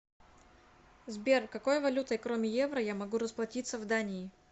сбер какой валютой кроме евро я могу расплатиться в дании